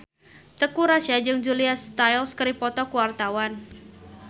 Teuku Rassya jeung Julia Stiles keur dipoto ku wartawan